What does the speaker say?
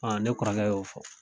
Ɔn ne kɔrɔkɛ y'o fɔ